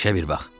İşə bir bax.